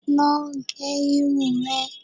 Lọ gẹ irun rẹ!